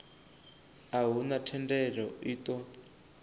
a huna thendelo i ṱo